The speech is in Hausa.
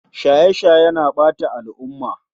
Shaye shaye na ɓata al'umma